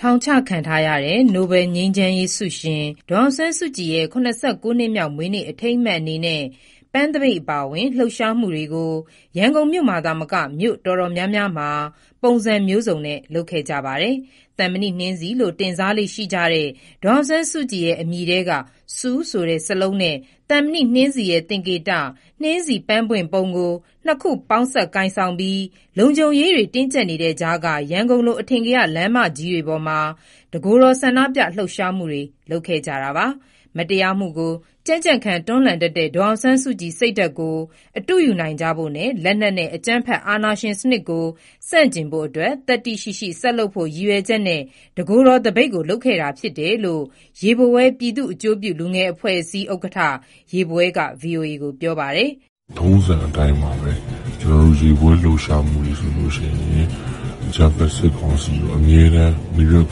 ထောင်ချခံထားရတဲ့ နိုဘယ်ငြိမ်းချမ်းရေးဆုရှင် ဒေါ်အောင်ဆန်းစုကြည်ရဲ့ ၇၉ နှစ်မြောက်မွေးနေ့ အထိမ်းအမှတ်အနေနဲ့ ပန်းသပိတ်အပါအဝင် လှုပ်ရှားမှုတွေကို ရန်ကုန်မြို့မှာသာမက မြို့တော်တော်များများမှာ ပုံစံမျိုးစုံနဲ့လုပ်ခဲ့ကြပါတယ်။ သံမဏိနှင်းဆီလို့ တင်စားကြလေ့ရှိတဲ့ ဒေါ်အောင်ဆန်းစုကြည်ရဲ့ အမည်ထဲက "Suu" ဆိုတဲ့ စာလုံးနဲ့ သံမဏိနှင်းဆီရဲ့သင်္ကေတ "နှင်းဆီပန်းပွင့်ပုံ" ကို နှစ်ခုပေါင်း စပ်ကိုင်ဆောင်ပြီး လုံခြုံရေးတင်းကြပ်တဲ့ကြား ရန်ကုန် အထင်ကရ လမ်းမကြီးပေါ်မှာ တကိုယ်တော်ဆန္ဒပြလှုပ်ရှားမှုတွေ လုပ်ခဲ့ကြပါတယ်။ မတရားမှုကိုကြံ့ကြံ့ခံတွန်းလှန်တတ်တဲ့ ဒေါ်အောင်ဆန်းစုကြည် စိတ်ဓါတ်ကို အတုယူနိုင်ကြဖို့နဲ့ လက်နက်နဲ့ အကြမ်းဖက်အာဏာရှင်စနစ်ကို ဆန့်ကျင်ဖို့ သတ္တိရှိရှိ ဆက်လုပ်ဖို့ ရည်ရွယ်ချက်နဲ့ တကိုယ်တော်သပိတ်ကို လုပ်ခဲ့တာဖြစ်တယ်လို့ ရေဘဝဲ (ပြည်သူ့အကျိုးပြု လူငယ်အဖွဲ့အစည်း) ဥက္ကဋ္ဌ ရေဘဝဲက ဗွီအိုအေကို ပြောပါတယ်။ "ထုံးစံအတိုင်းပါဘဲ။ ကျနော်တို့ရေဘဝဲလှုပ်ရှားမှုဆိုရင် အကြမ်းဖက်စစ်ကောင်စီကိုအမြဲတမ်း နာရွက်သ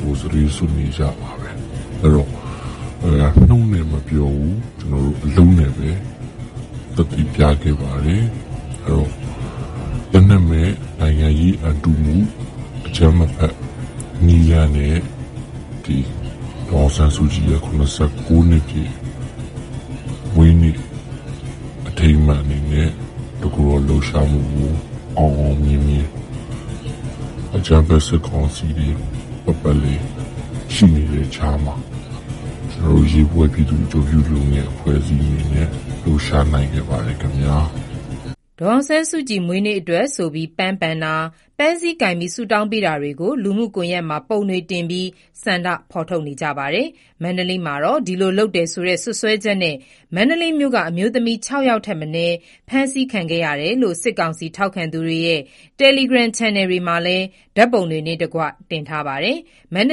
တွေးစွတ်နေကြပါ။ နှုတ်နဲ့မပြောဘူး အလုပ်နဲ့သက်သေပြတာပါ။ ဒ့ါကလက်နက်မဲ့နိုင်ငံရေးအံတုမှုပါ။ အကြမ်းမဖက်နည်းလမ်းနဲ့ ဒေါ်အောင်ဆန်းစုကြည်ရဲ့ ၇၉နှစ်ပြည့် မွေးနေ့အ ထိမ်းအမှတ်အနေနဲ့ တကိုယ်တော်လှုပ်ရှားမှုကိုအောင်အောင်မြင်မြင် အကြမ်းဖက်စစ်ကောင်စီပတ်ပတ်လည်ရှိနေတဲ့ကြားမှာ ရေဘဝဲ (ပြည်သူ့အကျိုးပြု လူငယ်အဖွဲ့အစည်း)က အောင်အောင်မြင်မြင်လုပ်ဆောင်နိုင်ခဲ့ပါတယ်။" ဒေါ်အောင်ဆန်းစုကြည်မွေးနေ့အတွက်ဆိုပြီး ပန်းပန်တာ၊ ပန်းစည်းကိုင်ပြီး ဆုတောင်းပေးတာတွေကို လှုမှုကွန်ယက်မှာ ပုံတွေတင်ပြီး ဆန္ဒထုတ်ဖော်နေကြပါတယ်။ မန္တလေးမှာတော့ ဒီလိုလုပ်တယ်ဆိုတဲ့ စွပ်စွဲချက်နဲ့ မန္တလေးမြို့က အမျိုးသမီး ၆ ယောက်ထက်မနည်းဖမ်းဆီးခဲ့တယ်လို့ စစ်ကောင်စီထောက်ခံသူတွေရဲ့ တယ်လီဂရမ်ချန်နယ်တွေမှာလည်း ဓာတ်ပုံတွေနဲ့တကွ တင်ထားပါတယ်။ မန္တ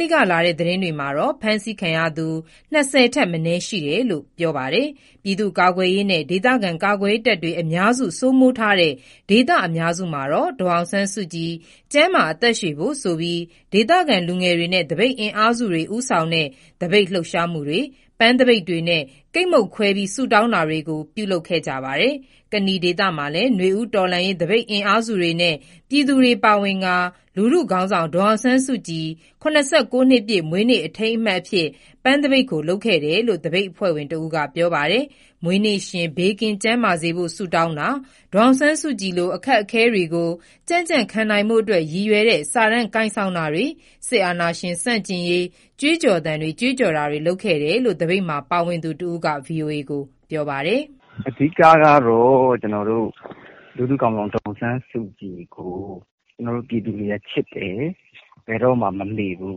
လေးက လာတဲ့သတင်းတွေမှာတော့ ဖမ်းဆီးခံရသူ ၂၀ ထက်မနည်းရှိတယ်လို့ ပြောပါတယ်။ ပြည်သူ့ကာကွယ်ရေးနဲ့ ဒေသကာကွယ်ရေးတပ်တွေ အများစု စိုးမိုးထားတဲ့ ဒေသအများစုမှာတော့ ဒေါ်အောင်ဆန်းစုကြည်ကျန်းမာအသက်ရှည်ဖို့ဆိုပြီး ဒေသခံလူငယ်တွေနဲ့ သပိတ်အင်အားစုတွေ ဦးဆောင်တဲ့ သပိတ်လှုပ်ရှားမှုတွေ၊ ပန်းသပိတ်တွေနဲ့ ကိတ်မုန့်ခွဲဆုတောင်းတာတွေကို ပြုလုပ်ခဲ့ကြပါတယ်။ ကနီဒေသမှာလည်း နွေဦးတော်လှန်ရေးသပိတ်အင်အားစုတွေနဲ့ ပြည်သူတွေပါဝင်ကာ လူထုခေါင်းဆောင် ဒေါ်အောင်ဆန်းစုကြည် (၇၉)နှစ်ပြည့် မွေးနေ့အထိမ်းအမှတ်ပန်းသပိတ်ကိုလုပ်ခဲ့တယ်လို့ သပိတ်အဖွဲ့ဝင်တဦးကပြောပါတယ်။ မွေးနေ့ရှင် ဘေးကင်းကျန်းမာစေဖို့ ဆုတောင်းတာ၊ ဒေါ်အောင်ဆန်းစုကြည်လိုအခက်အခဲတွေကို ကြံကြံခံနိုင်ဖို့အတွက် ရည်ရွယ်တဲ့စာတမ်း ကိုင်ဆောင်တာတွေ စစ်အာဏာရှင် ဆန့်ကျင်ရေး ကြွေး ကြော် သံတွေ ကြွေးကြော်တာတွေလုပ်ခဲ့တယ်လို့ သပိတ်မှာပါဝင်သူတဦးက ဗွီအိုအေကို ပြောပါတယ်။ "အဓိကကတော့ကျနော်တို့ လူထုခေါင်းဆောင်ဒေါ်အောင်ဆန်းစုကြည်ကို ပြည်သူတွေကချစ်တယ်။ ဘယ်တော့မှမမေ့ဘူး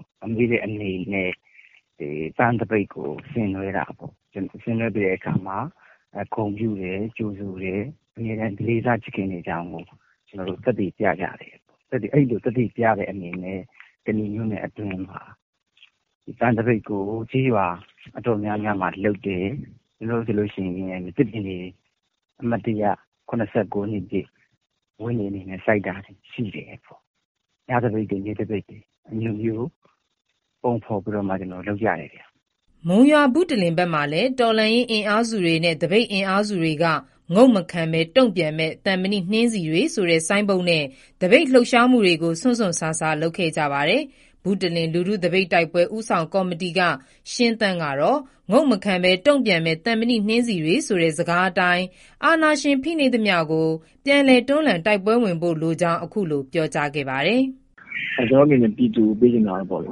။ မမေ့တဲ့အနေနဲ့ ပန်းသပိတ်ကိုဆင်နွဲတာ။ သူ့ကိုဂုဏ်ပြုတယ် ကြိုဆိုတယ်။ အမြဲတမ်းလည်းလေးစားချစ်ခင်နေကြဦးမယ်။ အံလိုသက်သေပြတယ်။ သက်သေ ပြတဲ့အနေနဲ့ ကနီမြို့နယ်နေရာတော်တော်များများမှာ ပန်းသပိတ်ကိုလုပ်တယ်။ နောက်အမှတ်တရ ၇၉နှစ်ပြည့်မွေးနေ့အတွက် သစ်ပင်စိုက်တာ ရှိတယ်။ ညသပိတ်နေ့သပိတ်အဲလိုတွေလုပ်ကြတယ်။" မုံရွာ၊ ဘုတလင်ဘက်မှာလည်း တော်လှန် ရေးအင်အားစုတွေနဲ့ သပိတ်အင်အားစုတွေက '' ငုံ့မခံဘဲ တုံ့ပြန်မဲ့ သံမဏိနှင်းဆီတွေ'' ဆိုတဲ့ ဆိုင်းဘုတ်နဲ့ သပိတ်လှုပ်ရှားမှုတွေ ကို စွန့်စွန့်စားစားလုပ်ခဲ့ကြပါတယ်။ ဘုတလင် လူထုသပိတ်တိုက်ပွဲ ဦးဆောင်ကော်မတီက ရှင်းသန့်ကတော့ '' ငုံ့မခံဘဲ တုံ့ပြန်မဲ့ သံမဏိနှင်းဆီတွေ'' ဆိုတဲ့ စကားအတိုင်း အာဏာရှင် ဖိနှိပ်သမျှကို ပြန်လည်တွန်းလှန်တိုက်ပွဲဝင်ဖို့ လိုကြောင်း အခုလိုပြောကြားခဲ့ပါတယ်။ "ကျနော်တို့အနေနဲ့ပြည်သူကိုပေးချင်တာကပေါ့ အ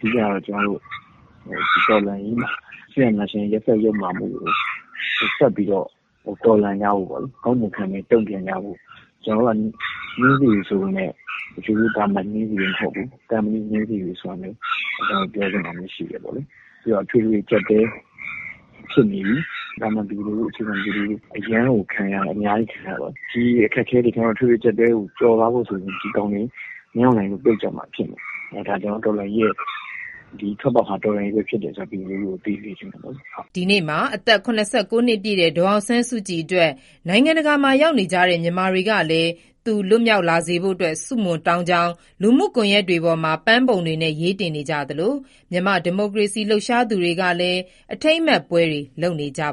ဓိကကျနော်တို့ ဒီတော်လှန်ရေးမှာ စစ်အာဏာရှင်ရဲ့ရက်စက်ယုတ်မာမှုတွေကို ဆက် တော်လှန်ကြဖို့ ငုံမခံဘဲတုံပြန်ကြဖို့ ကျနော်တို့က နှင်းဆီပေမယ့် သာမန်နှင်းဆီမဟုတ်ဘူး။ သံမဏိနှင်းဆီတွေဖြစ်တယ်ဆိုတာပြောချင်တယ်။ နောက်ခုလက်ရှိအထွေထွေအကျပ်အတည်းဖြစ်နေတယ်။ သာမန်ပြည်သူတွေအများကြီးအရမ်းကိုခံရတယ်။ ဒီအခက်အခဲကျော်ဖို့ဆို ဒီစစ်အာဏာရှင်တွေပြုတ်မှဖြစ်မယ် ဒီထွက်ပေါက်ဟာတော်လှန်ရေးဘဲဖြစ်တယ်ဆိုတာပြည်သူကိုထပ်သတိပေးစကားပြောချင်ပါတယ်။" ဒီနေ့မှာ အသက် ၇၉ နှစ်ပြည့်တဲ့ ဒေါ်အောင်ဆန်းစုကြည်အတွက် နိုင်ငံတကာမှာရောက်နေကြတဲ့ မြန်မာတွေကလည်း သူလွတ်မြောက်လာစေဖို့ ဆုတောင်းကြောင်း လူမှုကွန်ရက်တွေပေါ်မှာ ပန်းပုံတွေနဲ့ ရေးတင်နေကြသလို မြန်မာ့ဒီမိုကရေစီရေးလှုပ်ရှားနေကြသူတွေကလည်း အထိမ်းအမှတ်ပွဲတွေ လုပ်နေကြပါ